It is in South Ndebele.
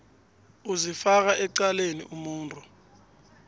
uzifaka ecaleni umuntu